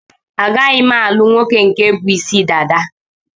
A gaghi m-alugh nwoke nke bu Ịsị dada?